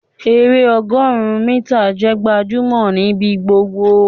èrè ọgọrun mítà jẹ gbajúmò nibi gbogbo